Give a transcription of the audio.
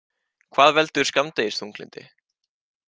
Hvað veldur skammdegisþunglyndi?